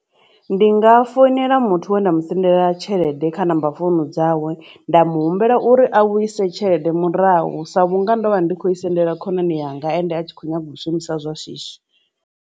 Ndi nga foinela muthu we nda mu sendela tshelede kha number founu dzawe nda mu humbela uri a vhuise tshelede murahu sa vhunga ndo vha ndi khou i sendela khonani yanga ende a tshi kho nyaga u shumisa zwa shishi.